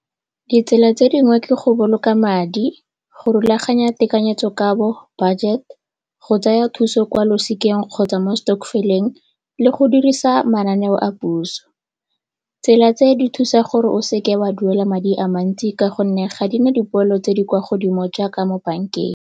Ditsela tse dingwe ke go boloka madi, go rulaganya tekanyetsokabo, budget, go tsaya thuso kwa losikeng kgotsa mo stokvel-eng le go dirisa mananeo a puso. Tsela tse di thusa gore o seke wa duela madi a mantsi ka gonne ga di na dipoelo tse di kwa godimo jaaka mo bankeng.